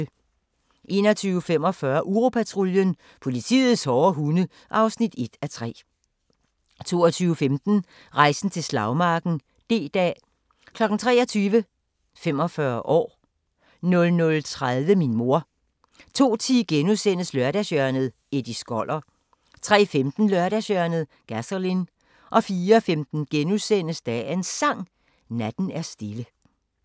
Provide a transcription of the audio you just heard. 21:45: Uropatruljen – politiets hårde hunde (1:3) 22:15: Rejsen til slagmarken: D-dag 23:00: 45 år 00:30: Min mor 02:10: Lørdagshjørnet - Eddie Skoller * 03:15: Lørdagshjørnet – Gasolin 04:15: Dagens Sang: Natten er stille *